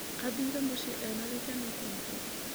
Athire mũciĩ ena gĩkeno kĩingĩ.